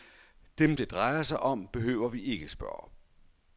Dem, det drejer sig om, behøver vi ikke at spørge.